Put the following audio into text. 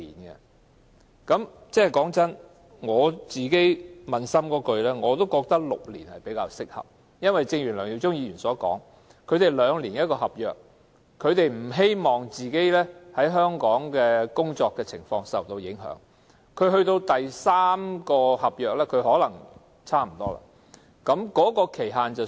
坦白說，撫心自問，我也認為6年較適合，正如梁耀忠議員所言，他們每兩年簽署一份合約，不希望自己在香港的工作受到影響，到第三份合約可能才認為是時候舉報。